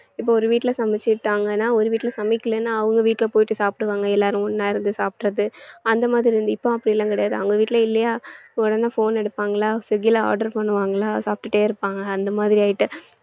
இப்ப ஒரு வீட்டுல சமைச்சுட்டாங்கன்னா ஒரு வீட்டுல சமைக்கலைன்னா அவங்க வீட்டுல போயிட்டு சாப்பிடுவாங்க எல்லாரும் ஒண்ணா இருந்து சாப்பிடறது அந்த மாதிரி இருந்து~ இப்போ அப்படிலாம் கிடையாது அவங்க வீட்டுல இல்லையா உடனே phone எடுப்பாங்களா swiggy ல order பண்ணுவாங்களா சாப்பிட்டுட்டே இருப்பாங்க அந்த மாதிரி ஆயிட்டு